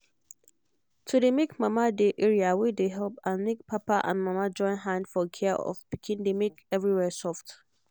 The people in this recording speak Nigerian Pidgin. to dey make mama dey area wey dey help and make papa and mama join hand for care of pikin dey make everywhere soft